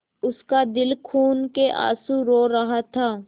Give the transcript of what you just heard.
उसका दिल खून केआँसू रो रहा था